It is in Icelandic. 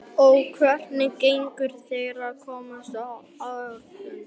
Páll: Og hvernig gengur þér að komast á áætlun?